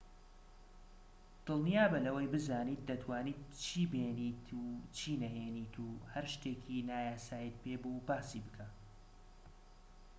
دڵنیابە لەوەی بزانیت دەتوانیت چی بێنیت و چی نەهێنیت و هەر شتێکی نایاساییت پێبوو باسی بکە